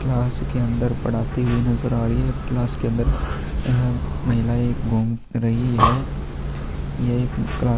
class के अन्दर पढ़ाती हुई नज़र आ रही है क्लास के अन्दर यह महिलाएँ घुम रही है यह क्लास --